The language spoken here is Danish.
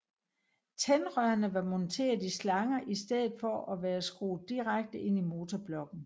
Tændrørene var monteret i slanger i stedet for at være skruet direkte ind i motorblokken